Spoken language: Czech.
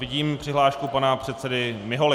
Vidím přihlášku pana předsedy Miholy.